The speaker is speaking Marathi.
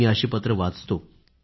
मी अशी पत्रे वाचतो